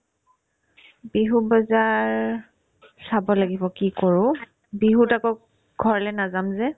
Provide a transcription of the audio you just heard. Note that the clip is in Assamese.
বিহুৰ বজাৰ চাব লাগিব কি কৰো বিহুত আকৌ ঘৰলে নাযাম যে